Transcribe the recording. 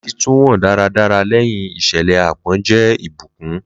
Lati tun wo daradara lẹhin iṣẹlẹ aapọn jẹ ibukun